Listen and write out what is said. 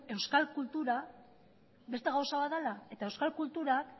euskal kultura beste gauza bat dela eta euskal kultura